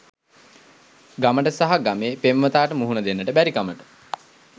ගමට සහ ගමේ පෙම්වතාට මුහුණ දෙන්න බැරිකමට